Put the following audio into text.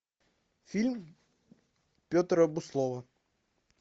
фильм петра буслова